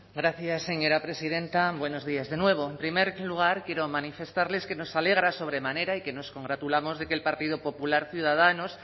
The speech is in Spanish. gracias señora presidenta buenos días de nuevo en primer lugar quiero manifestarles que nos alegra sobremanera y que nos congratulamos de que el partido popular ciudadanos